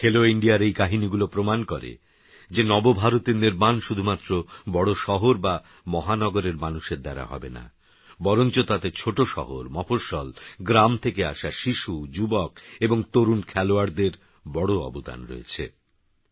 খেলোইন্ডিয়ারএইকাহিনিগুলোপ্রমাণকরেযেনবভারতেরনির্মাণশুধুমাত্রবড়শহরবামহানগরেরমানুষেরদ্বারাহবেনা বরঞ্চতাতে ছোটশহর মফস্বল গ্রামথেকেআসাশিশু যুবকএবংতরুণখেলোয়াড়দেরবড়অবদানরয়েছে